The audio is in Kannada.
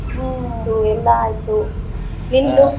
ಹ್ಮ್‌ ಎಲ್ಲಾ ಆಯ್ತು ನಿಮ್ದು?